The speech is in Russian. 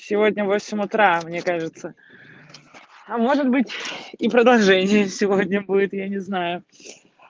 сегодня в восемь утра мне кажется а может быть и продолжение сегодня будет я не знаю